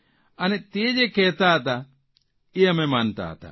અને તે જે કહેતા હતા તે અમે માનતા હતા